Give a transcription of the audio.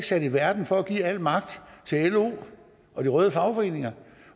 sat i verden for at give al magt til lo og de røde fagforeninger